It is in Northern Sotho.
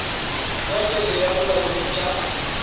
ya pele ya bolaodi ka